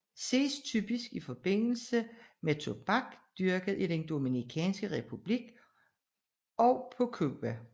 Ses typisk i forbindelse med tobak dyrket i den Dominikanske Republik og på Cuba